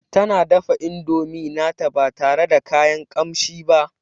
Tana dafa indomi nata ba tare da kayan kamshi ba